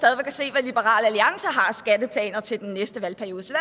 at se hvad liberal alliance har af skatteplaner til den næste valgperiode så